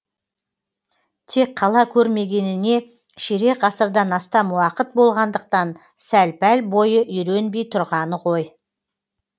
тек қала көрмегеніне ширек ғасырдан астам уақыт болғандықтан сәл пәл бойы үйренбей тұрғаны ғой